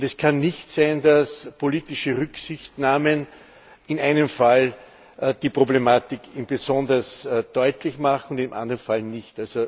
Es kann nicht sein, dass politische Rücksichtnahmen in einem Fall die Problematik besonders deutlich machen und im anderen Fall nicht.